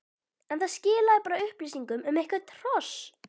en það skilaði bara upplýsingum um eitthvert hross.